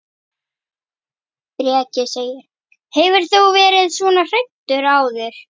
Breki: Hefur þú verið svona hræddur áður?